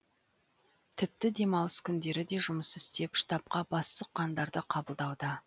тіпті демалыс күндері де жұмыс істеп штабқа бас сұққандарды қабылдауда